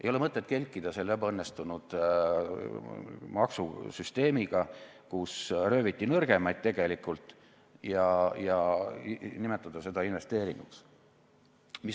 Ei ole mõtet kelkida selle ebaõnnestunud maksusüsteemiga, kus tegelikult rööviti nõrgemaid, ja nimetada seda investeeringuks.